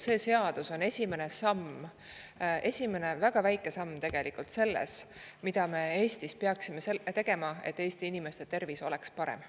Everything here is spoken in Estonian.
See seadus on esimene samm, esimene väga väike samm, mida me Eestis peaksime tegema, et Eesti inimeste tervis oleks parem.